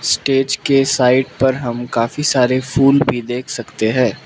Stage के side पर हम काफी सारे फूल भी देख सकते हैं।